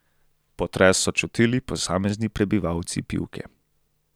Potres so čutili posamezni prebivalci Pivke.